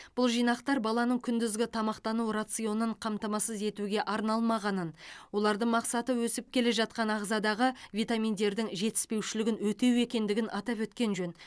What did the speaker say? бұл жинақтар баланың күндізгі тамақтану рационын қамтамасыз етуге арналмағанын олардың мақсаты өсіп келе жатқан ағзадағы витаминдердің жетіспеушілігін өтеу екендігін атап өткен жөн